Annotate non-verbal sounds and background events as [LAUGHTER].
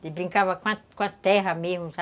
[UNINTELLIGIBLE] brincava com a terra mesmo, sabe?